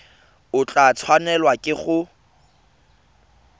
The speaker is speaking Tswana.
o tla tshwanelwa ke go